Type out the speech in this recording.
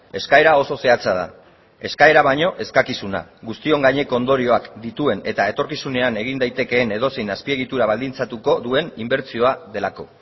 eskaera oso zehatza da eskaera baino eskakizuna guztion gaineko ondorioak dituen eta etorkizunean egin daitekeen edozein azpiegitura baldintzatuko duen inbertsioa delako